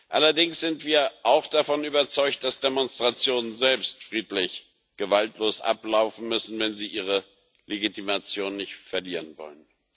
Allerdings sind wir auch davon überzeugt, dass Demonstrationen selbst friedlich und gewaltlos ablaufen müssen, wenn sie ihre Legitimation nicht verlieren wollen.